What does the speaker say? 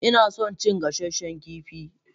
Ina son cin gasanshen kifi.